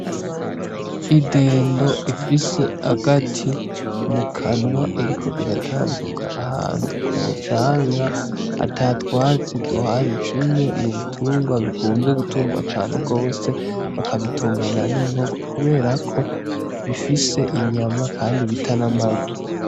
Idendo ifise agati mu kanwa iriko iratambuka ahantu ku mu canga ata twatsi duhari kimwe mu bitungwa bikunze gutungwa cane gose bakabitungana n'inkoko kuberako bifise inyama kandi bita n'amagi.